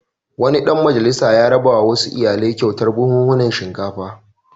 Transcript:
Wani ɗan majalisa ya rabawa wasu iyalai kyautar buhhunan shinkafa.